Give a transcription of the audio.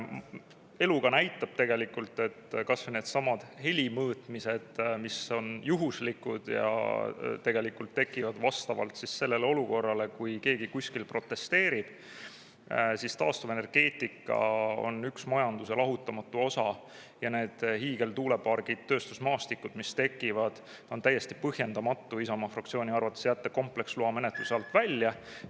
Elu aga näitab tegelikult, et kas või needsamad heli mõõtmised, mis on juhuslikud ja tegelikult tekivad vastavalt sellele olukorrale, kui keegi kuskil protesteerib, siis taastuvenergeetika on üks majanduse lahutamatu osa ja need hiigeltuulepargid, tööstusmaastikud, mis tekivad, on täiesti põhjendamatu Isamaa fraktsiooni arvates jätta kompleksloa menetluse alt välja.